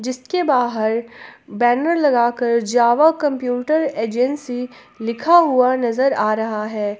इसके बाहर बैनर लगाकर जावा कंप्यूटर एजेंसी लिखा हुआ नजर आ रहा है।